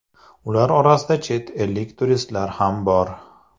Ular orasida chet ellik turistlar ham bor.